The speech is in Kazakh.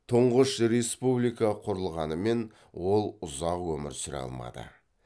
тұңғыш республика құрылғанымен ол ұзақ өмір сүре алмады